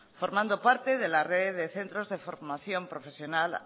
formando parte de la red de centros de formación profesional